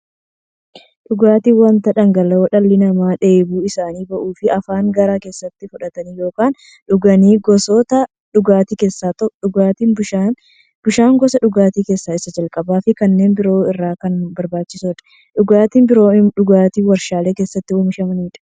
Dhugaatiin wanta dhangala'oo dhalli namaa dheebuu isaanii ba'uuf, afaaniin gara keessaatti fudhatan yookiin dhuganiidha. Gosoota dhugaatii keessaa tokko dhugaatii bishaaniti. Bishaan gosa dhugaatii keessaa isa jalqabaafi kanneen biroo irra kan barbaachisuudha. Dhugaatiin biroo immoo dhugaatii waarshalee keessatti oomishamaniidha.